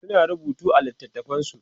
suna rubutu a littatafansu